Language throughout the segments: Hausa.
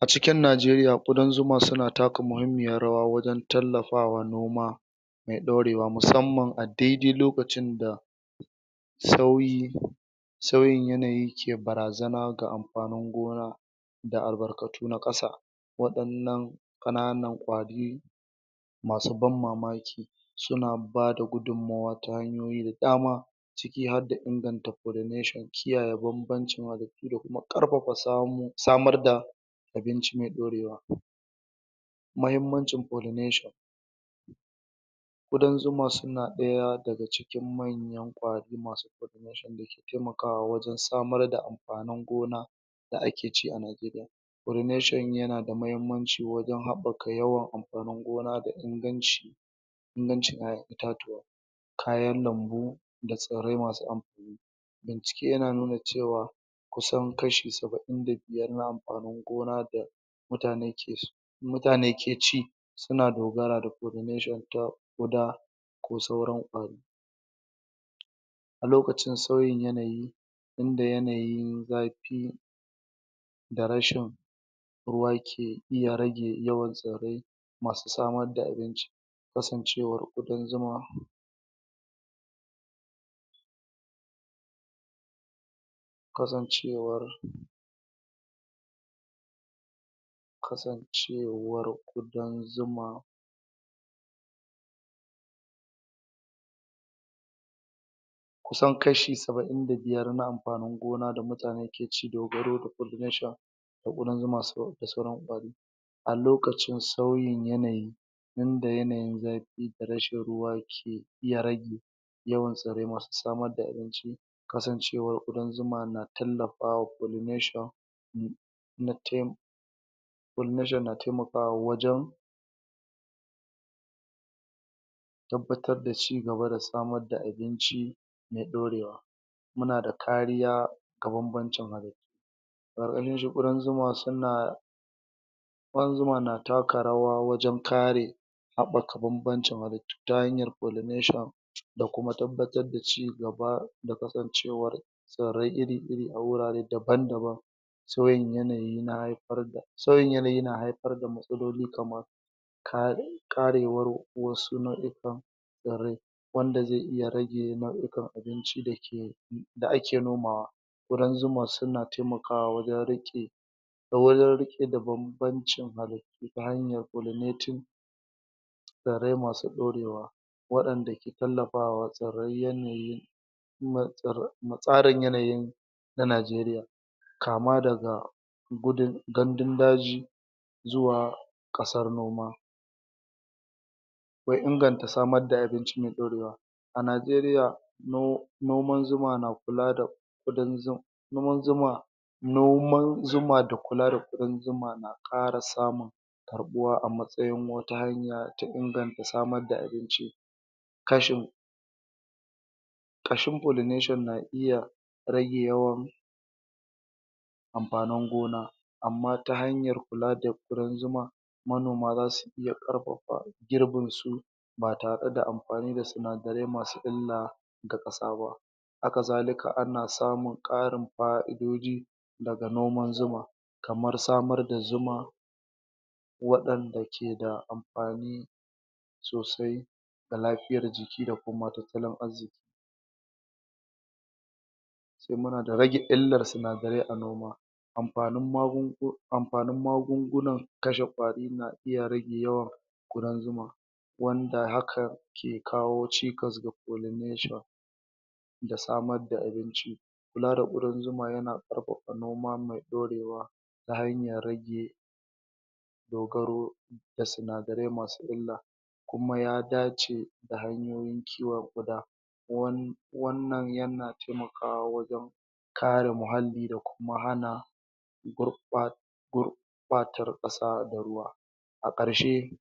A cikin Najeriya ƙudan zuma suna taka muhimmiyar rawa wajen tallafawa noma mai ɗorewa musamman a dai-dai lokacin da sauyi sauyin yanayi ke barazana ga amfanin gona da albarkatu na ƙasa waɗannan ƙanan ƙwari masu ban mamaki suna bada gudummuwa ta hanyoyi da dama ciki harda inganta pollunation kiyaye banbancin halittu da kuma ƙarfafa samarda abinci mai ɗorewa. muhimmancin pollination ƙudan zuma suna ɗaya daga cikin manyan ƙwari masu taimakawa wajen samar da amfanin gona da ake ci a Najeriya. pollunation yana da muhimmanci wajen haɓɓaka amfanin gona da inganci ƴaƴan itatuwa kayan lambu da tsirrai masu amfa bincike yanan nuna cewa kusan kashi saba'in da biyar na amfanin gona da mutane mutane ke ci suna da polliunation ta guda ko sauran a lokacin sauyin yanayi inda yanayin zafi ya da rashin ruwa ke rage yawan tsirrai masu samar da abinci kasancewar ƙudan zuma kasancewar kasancewar ƙudan zuma kusan kashi saba'in na amfanin gona da mutane ke ci dogaro da population da ƙudan zuma da sauran ƙwari al lokacin sauyin yanayi wanda yanayin zafi da rashin ruwa kan iya rage yawan tsirrai masu samar da abinci kasancewar ƙudan zuma na tallafawa pollination na tai pollunation na taimakawa wajen tabbatar da ci gaba da samar da abinci mai ɗorewa muna da kariya ga banbancin halittu da ƙudan zuma suna da ƙudan zuma na taka rawa wajen kare haɓaka banbancin halittu ta hanyar pollunation da kuma tabbatar da ci gaba da kasancewar tsirrai iri iri a wurare daban-daban sauyin yanayi na haifar da sauyin yanayi na haifar da matsaloli kamar ka ƙarewar wasu nau'ikan tsirrai wanda zai iya rage nau'ikan abinci da ake nomawa ƙudan zuma suna taimakawa wajen riƙe wajen rike da banbancin abinci ta hanyar pollunating tsirrarai masu ɗorewa wanda ke taimaka ma tsairrai yanayin mu tsarin yanayi na Najeriya. kama daga gudun gandun daji zuwa ƙasar noma. akwai inganta samar da abinci mai ɗorewa. A Najeriya no noman zuma na kula da ƙudan zu noman zuma noman zuma da kula da ƙudan zuma na ƙara samun karɓuwa a matsayin wata hanya ta ƙara samar da abinci ƙashin pollunation na iya rage yawan amfanin gona amma ta hanyar kula da ƙudan zuma manoma za su iya ƙarfafa girbinsu ba tare da amfani da sinadarai masu illa ga ƙasa ba hakazalika ana samun ƙarin fa'idoji daga noman zuma kamar samar da zuma waɗanda ke da amfani sosai ga lafiyar jiki da kuma tattalin arziƙi sai muna da rage illar sinadarai a gona amfanin magun amfanin magunguna kashe ƙwari na iya rage yawan ƙudan zuma wanda haka ke kawo cikas ga pollination. da samar da abinci kula da ƙudan zuma yana ƙarfafa abinci mai ɗorewa ta hanyar rage dogaro da sinadaarai masu illa kuma ya dace da hanyoyin kiwaon ƙuda wannan yana taimakawa wajen kare muhalli da kuma hana gurɓata gurɓata ruwa da ƙasa, a ƙarshe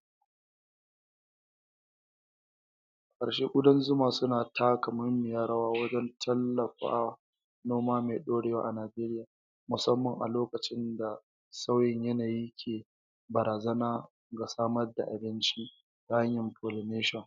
a ƙarshe ƙudan zuma suna taka muhimmiyar rawa wajen tallafa noma mai ɗorewa a Najeriya musamman a lokacin da sauyin yanayi ke barazana ga samar da abinci ta hanyar pollination.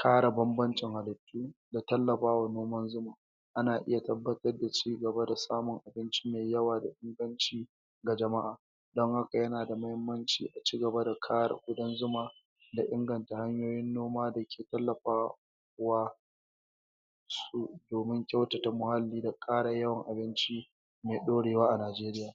kare banbancin halittu da taimaka ma noman zuma. ana iya tabbatar da ci gaba da samun abinci mai yawa da inganci ga jama'a don haka yana da inganci a ci gaba da kare ƙudan zuma da inganta hanyoyin noma da ke tallafawa domin kyautata muhalli da ƙara yawan abinci mai ɗorewa a Najeriya.